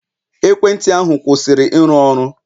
Ekwentị ahu, kwụsịrị ịrụ ọrụ.